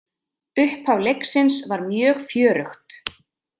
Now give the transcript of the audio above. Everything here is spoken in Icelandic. Upphaf leiksins var mjög fjörugt.